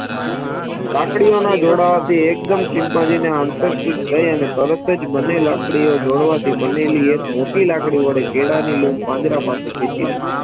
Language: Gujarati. લાકડીઓના જોડાવાથી એકદમ ચિમ્પાન્જીને હમસફરસ થઇ અને તરત અને તરતજ બને લાકડીઓ જોડવાથી બને લઈ એક મોટી લાકડી વડે કેળાની લઉં પાંજરા પાસે ખેંચી લીધી